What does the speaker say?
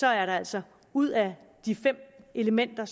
er der altså ud af de fem elementer